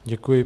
Děkuji.